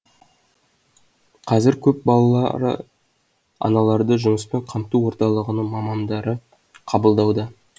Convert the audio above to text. қазір көпбалалы аналарды жұмыспен қамту орталығының мамандары қабылдауда